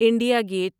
India get